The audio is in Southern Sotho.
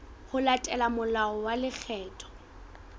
ho latela molao wa lekgetho